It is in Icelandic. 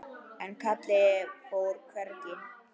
En Kalli fór hvergi.